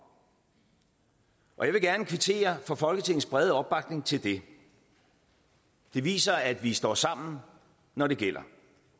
og jeg vil gerne kvittere for folketingets brede opbakning til det det viser at vi står sammen når det gælder